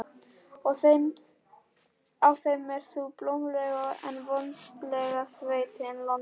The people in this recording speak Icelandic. Á þeim er sú blómlega en votlenda sveit, Landeyjar.